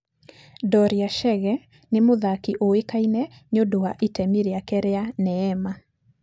Dorea Chege nĩ mũthaki ũĩkaine nĩ ũndũ wa itemi rĩake rĩa"Neema".